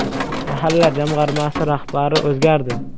“Mahalla” jamg‘armasi rahbari o‘zgardi.